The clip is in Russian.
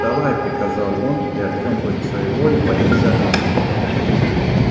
вставай приказал он и артем против своей воли поднялся на ноги